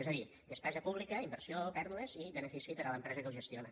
és a dir despesa pública inversió pèrdues i benefici per a l’empresa que ho gestiona